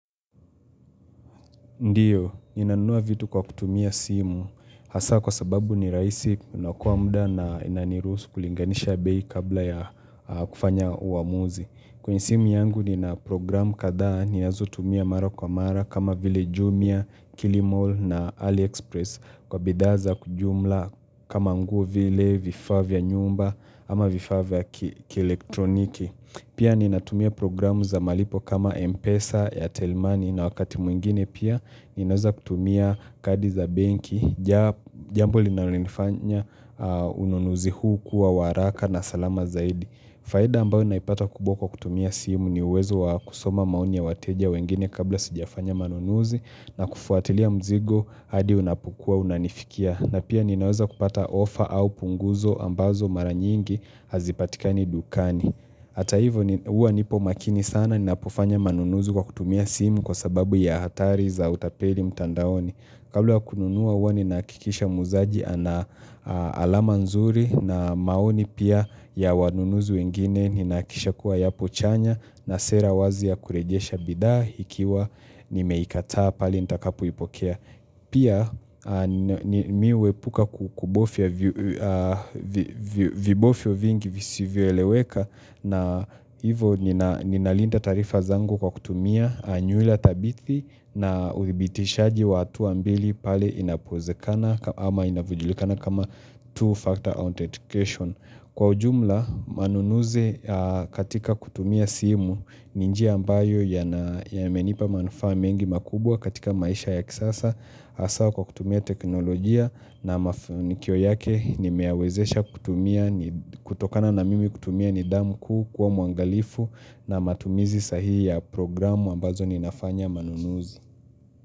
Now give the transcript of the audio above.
Ndiyo, ninanua vitu kwa kutumia simu, hasa kwa sababu ni rahisi, unakuwa muda na inaniruhusu kulinganisha bei kabla ya kufanya uamuzi. Kwenye simu yangu nina programu kadhaa ni ninazotumia mara kwa mara kama vile jumia, kilimall na earlyexpress. Kwa bidhaa za jumla kama nguo vile, vifaa vya nyumba ama vifaa vya kielektroniki. Pia ninatumia programu za malipo kama Mpesa ya Telmoney na wakati mwingine pia, ninaweza kutumia kadi za benki, jambo linalonifanya ununuzi huu kuwa wa haraka na salama zaidi. Faida ambayo naipata kubwa kwa kutumia simu ni uwezo wa kusoma maoni ya wateja wengine kabla sijafanya manunuzi na kufuatilia mzigo hadi unapokua unanifikia. Na pia ninaweza kupata offer au punguzo ambazo mara nyingi hazipatikani dukani Hata hivo huwa nipo makini sana ninapofanya manunuzi kwa kutumia simu kwa sababu ya hatari za utapeli mtandaoni Kabla ya kununua huwa ninahakikisha muuzaji ana alama nzuri na maoni pia ya wanunuzi wengine Ninahakikisha kuwa yapo chanya na sera wazi ya kurejesha bidhaa ikiwa nimeikataa pale nitakapoipokea Pia mimi huepuka kubofya vibofyo vingi visivyoeleweka na hivo ninalinda taarifa zangu kwa kutumia nyula tabithi na uthibitishaji wa hatua mbili pale inapoezekana ama inavyojulikana kama two factor authentication. Kwa ujumla, manunuzi katika kutumia simu ni njia ambayo yamenipa manufaa mengi makubwa katika maisha ya kisasa hAsa kwa kutumia teknolojia na kioo yake nimeyawezesha kutumia, kutokana na mimi kutumia nidhamu kuu kuwa mwangalifu na matumizi sahihi ya programu ambazo ninafanya manunuzi.